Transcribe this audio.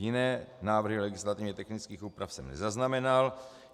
Jiné návrhy legislativně technických úprav jsem nezaznamenal.